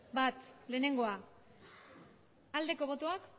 lehenengoa aldeko botoak